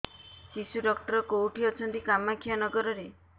ଶିଶୁ ଡକ୍ଟର କୋଉଠି ଅଛନ୍ତି କାମାକ୍ଷାନଗରରେ